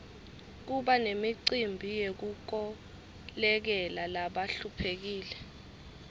kuba nemicimbi yekukolekela labahluphekile